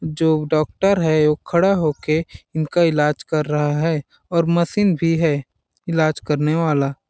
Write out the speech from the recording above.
जो डॉक्टर है वो खड़ा होके इनका इलाज कर रहा है और मशीन भी है इलाज करने वाला।